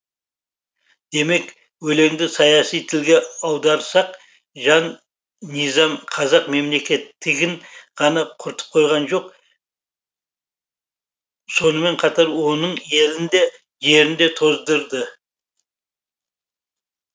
демек өлеңді саяси тілге аударсақ жан низам қазақ мемлекеттігін ғана құртып қойған жоқ сонымен қатар оның елін де жерін де тоздырды